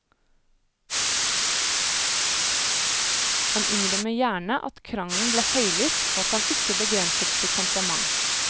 Han innrømmer gjerne at krangelen ble høylytt og at han ikke begrenset sitt temperament.